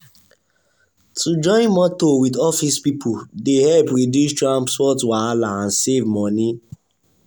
to join motor with office people dey help reduce transport wahala and save money.